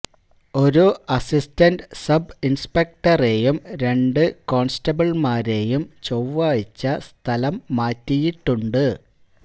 ഒരു assistant sub ഇൻസ്പെക്ടറെയും രണ്ട് ഹെഡ് കോൺസ്റ്റബിൾമാരെയും ചൊവ്വാഴ്ച സ്ഥലംമാറ്റിയിട്ടുണ്ട്